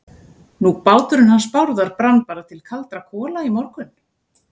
Nú, báturinn hans Bárðar brann bara til kaldra kola í morgun.